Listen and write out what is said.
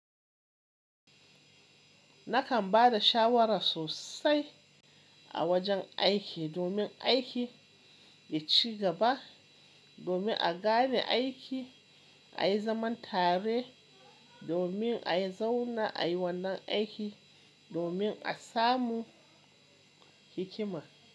Nakan ba da shawara sosai a wajen aiki domin aiki ya ci gaba, domin a gane aiki, a yi zaman tare, domin a yi zauna, a yi wannan aiki, domin a samu hikima.